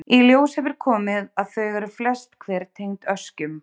Í ljós hefur komið að þau eru flest hver tengd öskjum.